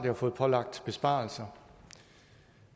har fået pålagt besparelser